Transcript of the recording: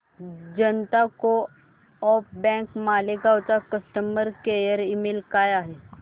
जनता co-op bank Malegaon चा customer care email काय आहे